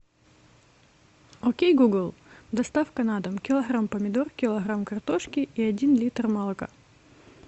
окей гугл доставка на дом килограмм помидор килограмм картошки и один литр молока